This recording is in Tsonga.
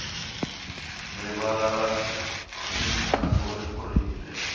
rivala ra mintlangu ri kurile